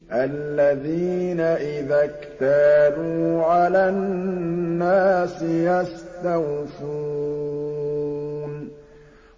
الَّذِينَ إِذَا اكْتَالُوا عَلَى النَّاسِ يَسْتَوْفُونَ